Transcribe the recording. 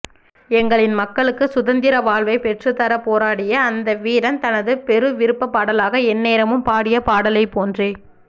எங்களின் மக்களுக்கு சுதந்திரவாழ்வை பெற்றுத்தரப் போராடிய அந்த வீரன் தனது பெருவிருப்ப பாடலாக எந்நேரமும் பாடிய பாடலைப்போன்றே